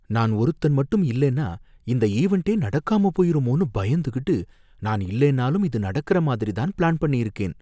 நான் ஒருத்தன் மட்டும் இல்லைனா இந்த ஈவென்டே நடக்காம போயிடுமோனு பயந்துகிட்டு, நான் இல்லனாலும் இது நடக்கற மாதிரி தான் பிளான் பண்ணியிருக்கேன்.